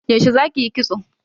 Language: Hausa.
Yaushe zaki yi kitso?